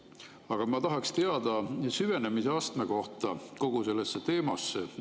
Aga ma tahaks teada kogu sellesse teemasse süvenemise astme kohta.